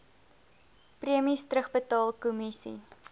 premies terugbetaal kommissie